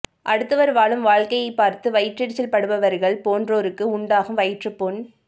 அடுத்தவர் வாழும் வாழ்க்கையைப் பார்த்து வயிற்றெரிச்சல் படுபவர்கள் போன்றோருக்கு உண்டாகும் வயிற்றுப் புண்